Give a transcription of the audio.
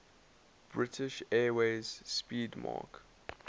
british airways 'speedmarque